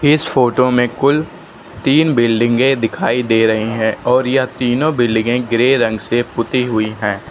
इस फोटो में कुल तीन बिल्डिंगें दिखाई दे रही हैं और यह तीनों बिल्डिंगें ग्रे रंग से पुती हुई हैं।